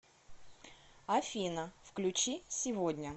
афина включи сегодня